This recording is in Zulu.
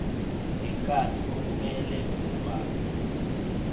nenkathi okumele ubhalwe